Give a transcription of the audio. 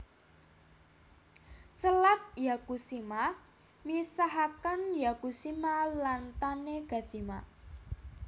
Selat Yakushima misahaken Yakushima lan Tanegashima